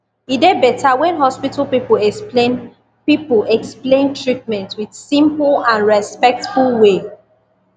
e dey better when hospital people explain people explain treatment with simple and respectful way